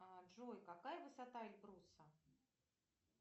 джой какая высота эльбруса